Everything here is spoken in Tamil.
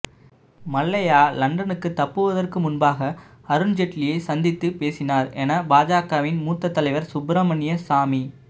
மல்லையா லண்டனுக்கு தப்புவதற்கு முன்பாக அருண் ஜெட்லியை சந்தித்து பேசினார் என பாஜகவின் மூத்த தலைவர் சுப்பிரமணிய சாமி